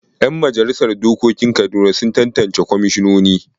Yan majalisar dokokin Kaduna sun tattance kwamishinini.